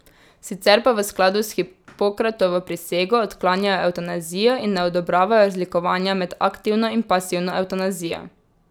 Sicer pa v skladu s Hipokratovo prisego odklanjajo evtanazijo in ne odobravajo razlikovanja med aktivno in pasivno evtanazijo.